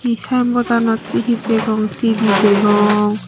hi saembottanot hi hi degong T_V degong.